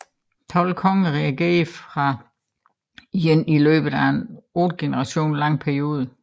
Tolv konger regerede fra Yin i løbet af en otte generationer lang periode